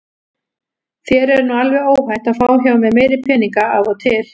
Þér er nú alveg óhætt að fá hjá mér meiri peninga af og til.